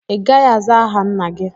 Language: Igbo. Ị gaghị azá aha nna gị!